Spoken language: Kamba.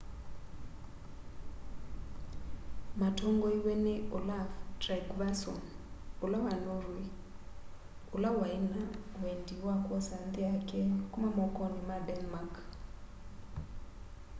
matongoiwe ni olaf trygvasson wa norweg ula waina wendi wa kwosa nthi yake kuma mokoni ma denmark